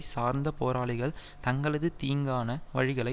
சார்ந்த போராளிகள் தங்களது தீங்கான வழிகளை